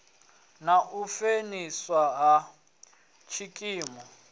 na u fheliswa ha tshikimu